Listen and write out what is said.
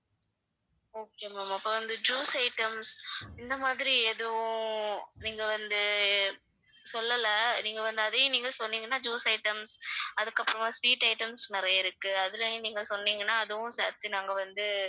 okay ma'am அப்ப வந்து juice items இந்த மாதிரி எதுவும் நீங்க வந்து சொல்லல நீங்க வந்து அதையும் நீங்க சொன்னீங்கன்னா juice items அதுக்கப்புறமா sweet items நிறைய இருக்கு அதுலயும் நீங்க சொன்னீங்கன்னா அதுவும் சேர்த்து நாங்க வந்து